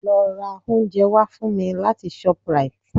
Lọ ra oúnjẹ wá fún mi láti shoprite